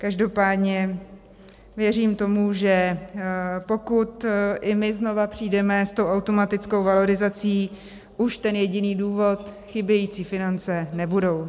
Každopádně věřím tomu, že pokud i my znovu přijdeme s tou automatickou valorizací, už ten jediný důvod, chybějící finance, nebude.